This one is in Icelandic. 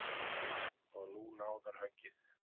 Og nú náðarhöggið.